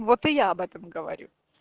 вот и я об этом говорю